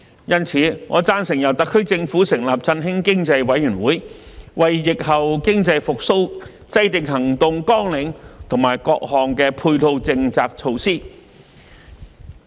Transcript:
因此，我贊成由特區政府成立振興經濟委員會，為疫後經濟復蘇制訂行動綱領和各項配套政策措施。